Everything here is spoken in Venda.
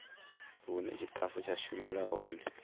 hune tshitafu tsha shumela hone